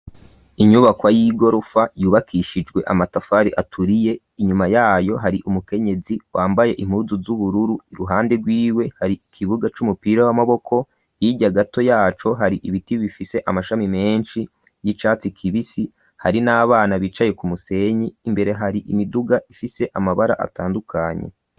Inyubako y'igorofa yubakishijwe amatafari aturiye inyuma yayo hari umukenyezi wambaye impuzu z'ubururu iruhande rw'iwe hari ikibuga c'umupira w'amaboko hirya gato yaco hari ibiti bifise amashami menshi y'icatsi kibisi hari n'abana bicaye ku musenyi imbere hari imiduga ifise amabara atandukanye.